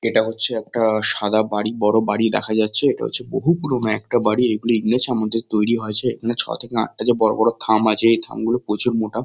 এটা হচ্ছে একটা সাদা বাড়ি বড়ো। বড়ো বাড়ি দেখা যাচ্ছে। এটা হচ্ছে বহু পুরোনো একটা বাড়ি। এগুলি ইংরেজ আমলে তৈরী হয়েছে। এখানে যে ছ থেকে আটটা যে বড়ো বড়ো থাম আছে এই থামগুলো প্রচুর মোটা।